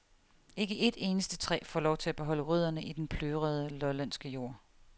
Ikke et eneste træ får lov til at beholde rødderne i den plørede lollandske jord.